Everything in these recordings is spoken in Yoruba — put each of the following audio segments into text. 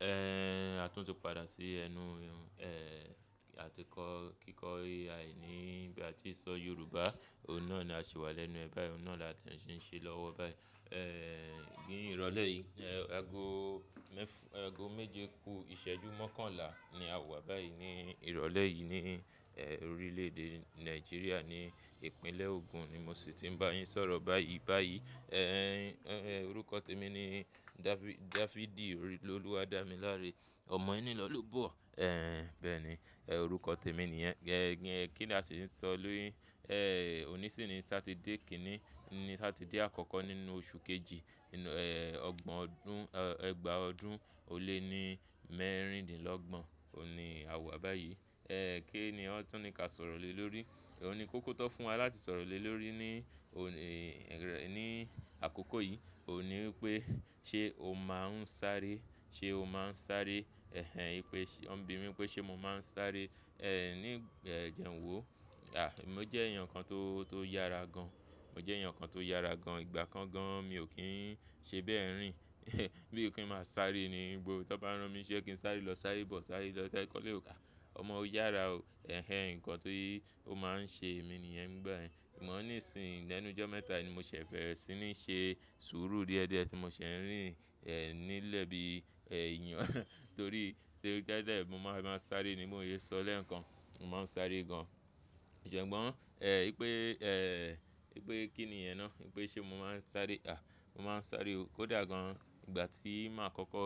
A tún tí padà sí ẹnu, àti kọ́ kíkọ́ Ai ní bí a tí sọ Yorùbá. Òun náà ni a ṣì wà lẹ́nu ẹ báyìí, òun náà là tí ẹ̀ ṣe ń ṣe lọ́wọ́ báyìí. Ní ìrọ̀lẹ́ yìí, ago mẹ́f- ago méje kú ìṣẹ́jú mọ́kànlá ni a wà báyìí ní ìrọ̀lẹ́ yìí ní, orílẹ̀-èdè Nàìjíríà ní ìpínlẹ̀ Ogun ni mo sì ti ń bá yín sọ̀rọ̀ báyìí báyìí. Orúkọ tèmi ni Dafi- Dafidi Olúwadámiláre. Ọmọ ẹnilọlobọ̀, bẹ́ẹ̀ ni, orúkọ tèmi nìyẹn. Kí ni a sì ń sọ lórí? Òní sì ni Satidé kíni ni Satidé àkọ́kọ́ nínú oṣù kejì nínú, ọgbọ̀n ọdún, ọgbà ọdún ó lé ní mẹ́rìndínlọ́gbọ̀n òun ni a wà báyìí. Kí ni ọ́ tún ní ka sọ̀rọ̀ lé lórí? Òní kókó tó fún wa láti sọ̀rọ̀ lé lórí ní òní, rẹ́, ní àkókò yìí òun ní wípé ṣe o máa ń sáré, ṣe o máa ń sáré? Ẹ́hẹ́n, í pé ṣe wọn bìmi pé ṣe mo máa ń sáré, ní jẹ́n wo? Àí, mo jẹ́ èèyàn kan tó, tó yára gan. Mo jẹ́ èèyàn kan tó yára gan. Ìgbà kan gan mi ò kí ń ṣe bẹ́ẹ̀ rín. Bí ò kí ń máa sáré ni gbo. Tí wọ́n bá rán mi ṣé kí ń sáré lọ sáré bọ̀, sáré lọ tá ẹ̀ kọ́ lé ro. Ọmọ ó yára o. Ẹ́hẹ́n, nǹkan tí ó máa ń ṣe èmi nìyẹn nígbàyẹn. Ìmọ̀ ní ìsìn lẹ́nu jọ́ mẹ́ta ni mo ṣẹ̀ fẹ́rẹ́ sì ní ṣe sùúrù díẹ̀díẹ̀ tí mo ṣẹ̀ ń rìn, nílẹ̀ bí èèyàn torí pé tẹ́lẹ̀ tẹ́lẹ̀ mo máa ń bá a sáré ni mó ò lè sọ lè nǹkan. Mo máa ń sáré gan. Ṣùgbọ́n, í pé, í pé kíni yẹn ná? Í pé ṣe mo máa ń sáré? Àh, mo máa ń sáré o. Kódà gan ìgbà tí máa kọ́kọ́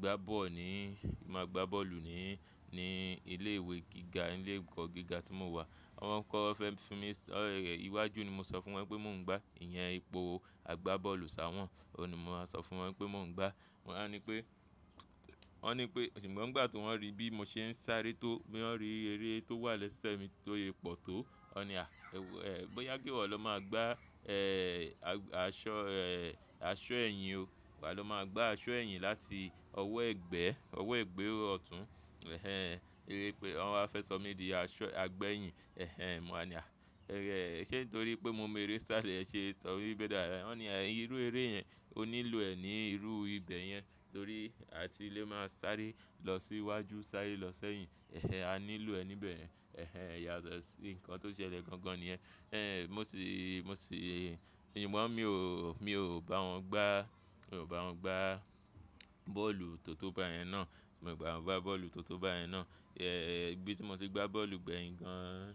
gbá bọ́ọ̀lù ní, máa gbá bọ́ọ̀lù ní, ní ilé ìwé gíga, ilé ẹ̀kọ́ gíga tí mo wà. Wọn kọ́ fẹ́ fún mi, ṣì iwájú ni mo sọ fún wọn pé mò ń gbá. Ìyẹn ipò agbá bọ́ọ̀lù sá wọ́n. Òun ni mo máa sọ fún wọn pé mò ń gbá. Wọn wá ní pé, wọ́n ní pé ṣùgbọ́n ìgbà tí wọ́n rí bí mo ṣe ń sáré tó, bí wọ́n rí eré tó wà lẹ́sẹ̀ mi tó yẹ pọ̀ tó, wọ́n ni a, bóyá kí wo lọ máa gbá, aṣọ, aṣọ ẹ̀yìn o. Wà lọ máa gbá aṣọ ẹ̀yìn láti ọwọ́ ẹgbẹ́, ọwọ́ ẹgbẹ́ ọ̀tún. Ẹ́hẹ́n, eré pé wọ́n wá fẹ́ sọ mí di aṣọ agbẹ́ ẹ̀yìn. Ẹ́hẹ́n, mo á ní àí.ṣé torí pé mo mọ eré sáré ẹ ṣe sọ bíi bẹ́ẹ̀ dá? Wọn ní, irú eré yẹn ó nílò ẹ ní irú ibẹ̀ yẹn torí a ti lè máa sáré lọ sí iwájú, sáré lọ sẹ́yìn. Ẹ́hẹ́n, a nílò ẹ níbẹ̀. Ẹ́hẹ́n, ìyàtọ̀ sí nǹkan tó ṣẹlẹ̀ gan gan ni yẹn. Ẹ́n, mo sì, mo sì, ìgbọ́n mi ò, mi ò bá wọn gbá, mi ò bá wọn gbá bọ́ọ̀lù tótó bá yẹn ná. Mi ò bá wọn gbá bọ́ọ̀lù tótó bá yẹn ná. Ibi tí mo ti gbá bọ́ọ̀lù gbẹ̀yìn gan,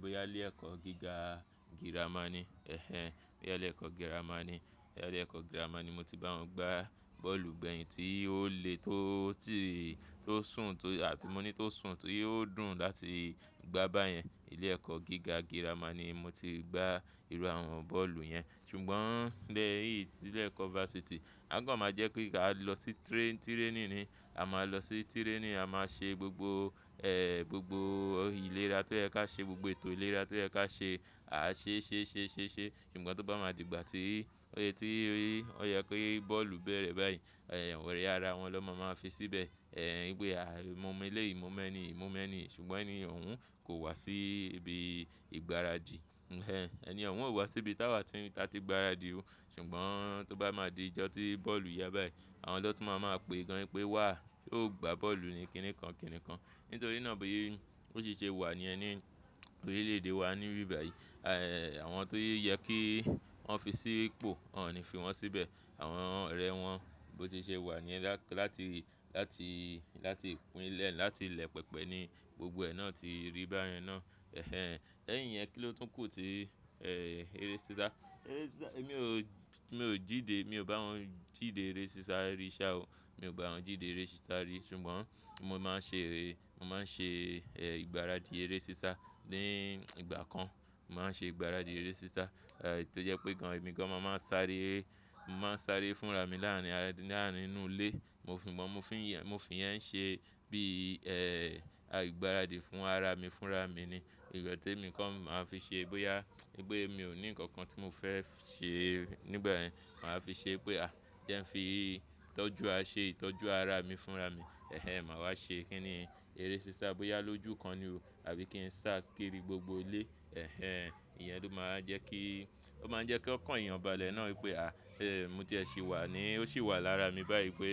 bóyá lé ẹ̀kọ́ gíga girama ni. Ẹ́hẹ́n, bóyá lé ẹ̀kọ́ girama ni. Ilé ẹ̀kọ́ girama ni mo ti bá wọn gbá bọ́ọ̀lù gbẹ̀yìn tí ó le tó tíì tó sùn tó àbí mo ní tó sùn tí ó dùn láti gbá bá yẹn. Ilé ẹ̀kọ́ gíga girama ni mo ti gbá irú àwọn bọ́ọ̀lù yẹn. Ṣùgbọ́n lẹ́yìn tí ilé ẹ̀kọ́ vásítì, a kan máa jẹ́ pé ká lọ sí train- training ni. A máa lọ sí training, a máa ṣe gbogbo, gbogbo ìlera tó yẹ ká ṣe gbogbo ètò ìlera tó yẹ ká ṣe. A ṣe ṣe ṣe ṣe ṣe. Ṣùgbọ́n tó bá máa di ìgbà tí, ó yẹ tí ó yẹ kí bọ́ọ̀lù bẹ̀rẹ̀ báyìí, ọ̀rẹ́ ara wọn ló máa máa fi síbẹ̀. Wípé àì, mo mọ ilé yìí, mo mọ ẹni, mo mọ ẹni. Ṣùgbọ́n ẹni òun kò wá sí ibi ìgbáradì. Ẹ́hẹ́n, ẹni òun ò wá sí ibi táa wà tí ta ti ìgbáradì o. Ṣùgbọ́n tó bá máa di ìjọ tí bọ́ọ̀lù yá báyìí, àwọn lọ́tùn máa máa pè gan pé wà ó gbá bọ́ọ̀lù ni kìnì kan kìnì kan. Nítorí náà bí ó ṣe ṣe wà ni ẹni orílẹ̀-èdè wa níbí báyìí. Àwọn tó yẹ kí wọ́n fi sí ipò, wọ́n ò ní fi wọ́n síbẹ̀. Àwọn ọ̀rẹ́ wọn bí ó ti ṣe wà ni ẹ la- láti, láti, láti pínlẹ̀, láti ilẹ̀ pẹpẹ ni gbogbo ẹ náà ti rí bá yẹn ná. Ẹ́hẹ́n, lẹ́yìn yẹn kí ló tún kù tí, eré sísá? Eré sísá, èmi ò, mi ò jíde, mi ò bá wọn jíde eré sísá rí ṣá o. Mi ò bá wọn jíde eré sísá rí ṣùgbọ́n mo máa ń ṣe eré, mo máa ń ṣe, ìgbáradì eré sísá ní ìgbà kan. Mo máa ń ṣe ìgbáradì eré sísá. Tó jẹ́ pé gan èmi gan mo máa ń sáré, mo máa ń sáré fúnra mi láàárín, láàárín inú ilé. Mo fìgbọ́n mo fín yẹn, mo fín yẹn ń ṣe bí, ìgbáradì fún ara mi fúnra mi ni. Ìgbà tí èmi kan máa fi ṣe bóyá, bóyá mi ò ní ǹkan kan tí mo fẹ́ ṣe nígbà yẹn, màá fi ṣe pé àí, jẹ́n fi tọ́jú a ṣe tọ́jú ara mi fúnra mi. Ẹ́hẹ́n, màá wá ṣe kíni eré sísá bóyá lójú kan ni o àbí kí n sá kiri gbogbo ilé. Ẹ́hẹ́n, ìyẹn ló máa ń jẹ́ kí, ó máa ń jẹ́ kí ọkàn yàn balẹ̀ náà wípé àí, mo ti ẹ sì wà ni. Ó sì wà lára mi báyìí pé.